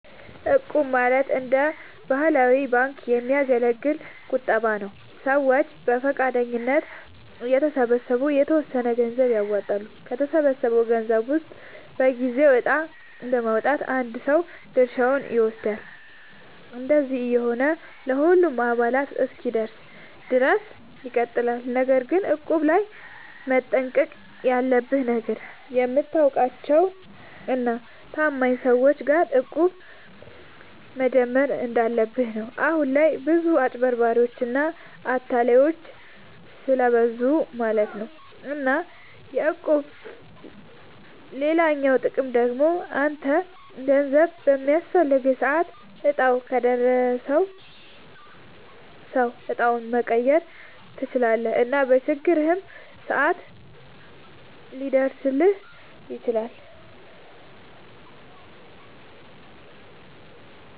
እቁብ ማለት እንደ ባህላዊ ባንክ የሚያገለግል ቁጠባ ነዉ። ሰዎች በፈቃደኝነት እየተሰባሰቡ የተወሰነ ገንዘብ ያዋጣሉ፣ ከተሰበሰበው ገንዘብ ውስጥ በየጊዜው እጣ በማዉጣት አንድ ሰው ድርሻውን ይወስዳል። እንደዚህ እየሆነ ለሁሉም አባላት እስኪደርስ ድረስ ይቀጥላል። ነገር ግን እቁብ ላይ መጠንቀቅ ያለብህ ነገር፣ የምታውቃቸው እና ታማኝ ሰዎች ጋር እቁብ መጀመር እንዳለብህ ነው። አሁን ላይ ብዙ አጭበርባሪዎች እና አታላዮች ስለብዙ ማለት ነው። እና የእቁብ ሌላኛው ጥቅም ደግሞ አንተ ገንዘብ በሚያስፈልግህ ሰዓት እጣው ከደረሰው ሰው እጣውን መቀየር ትችላለህ እና በችግርህም ሰዓት ሊደርስልህ ይችላል።